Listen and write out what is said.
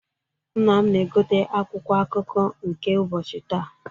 Nna m na-egote akwụkwọ akụkọ nke ụbọchị taa.